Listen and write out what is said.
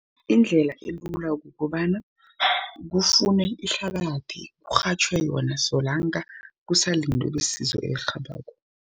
Indlela elula kukobana kufunwe ihlabathi, kurhatjhwe yona solanka kusalindwe besizo elirhabako.